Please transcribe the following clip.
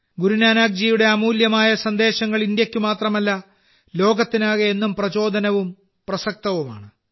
ഗുരുനാനാക്ക് ജിയുടെ അമൂല്യമായ സന്ദേശങ്ങൾ ഇന്ത്യക്ക് മാത്രമല്ല ലോകത്തിനാകെ എന്നും പ്രചോദനവും പ്രസക്തവുമാണ്